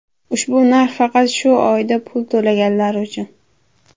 Ushbu narx faqat shu oyda pul to‘laganlar uchun.